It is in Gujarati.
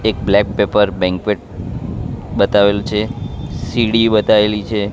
એક બ્લેક પેપર બેંકવેટ બતાવેલું છે સીડી બતાવેલી છે.